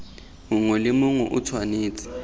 mongwe le mongwe o tshwanetse